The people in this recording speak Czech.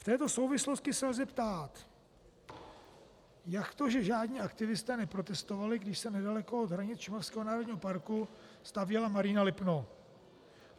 V této souvislosti se lze ptát: jak to, že žádní aktivisté neprotestovali, když se nedaleko od hranic Šumavského národního parku stavěla Marína Lipno?